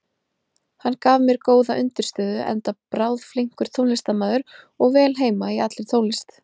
Hann gaf mér góða undirstöðu, enda bráðflinkur tónlistarmaður og vel heima í allri tónlist.